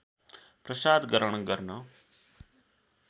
प्रसाद ग्रहण गर्न